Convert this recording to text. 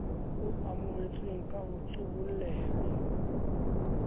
o amohetsweng ka ho qoholleha